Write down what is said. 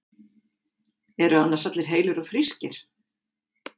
Eru annars allir heilir og frískir?